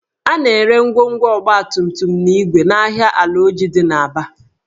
A na-ere ngwongwo ọgbatumtum na igwe n'ahịa Alaoji dị n'Aba